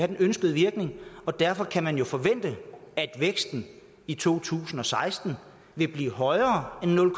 den ønskede virkning og derfor kan man jo forvente at væksten i to tusind og seksten vil blive højere end nul